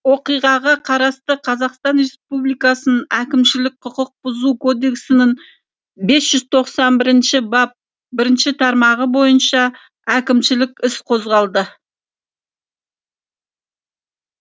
оқиғаға қатысты қазақстан реаспубликасының әкімшілік құқық бұзу кодексінің бес жүз тоқсан бірінші бап бірінші тармағы бойынша әкімшілік іс қозғалды